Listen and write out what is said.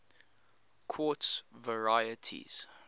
quartz varieties